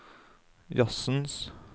jazzens